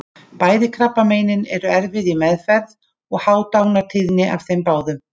Bæði krabbameinin eru erfið í meðferð og há dánartíðni af þeim báðum.